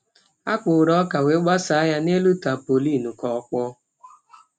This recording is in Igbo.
Ha kpọrọ ọka wee gbasaa ya ya n’elu tampolin ka ọ kpọọ.